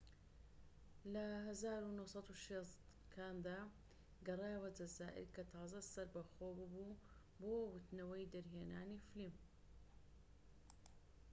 لە ١٩٦٠ کاندا، گەڕایەوە جەزائیر کە تازە سەربەخۆ بووبوو بۆ وتنەوەی دەرهێنانی فلیم